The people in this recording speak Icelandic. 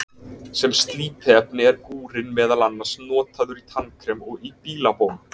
sem slípiefni er gúrinn meðal annars notaður í tannkrem og í bílabón